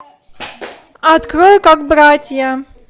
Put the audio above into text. открой как братья